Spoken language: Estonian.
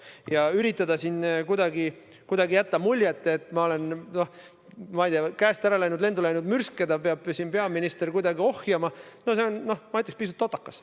Ja üritada siin kuidagi jätta muljet, et ma olen, ma ei tea, käest ära läinud, et lendu läinud mürske peab siin peaminister kuidagi ohjama – no see on, ma ütleks, pisut totakas.